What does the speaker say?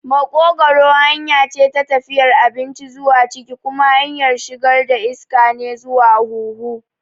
Maƙogwaro hanya ce ta tafiyar abinci zuwa ciki kuma hanyar shigar iska ne zuwa huhu.